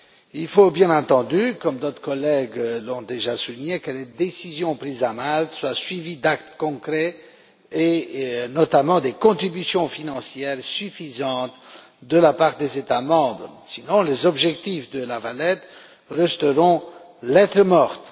Il faut, bien entendu, comme d'autres collègues l'ont déjà souligné, que les décisions prises à Malte soient suivies d'actes concrets et, notamment, de contributions financières suffisantes de la part des États membres, sinon les objectifs de La Valette resteront lettre morte.